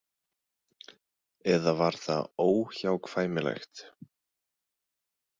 Eða var það óhjákvæmilegt?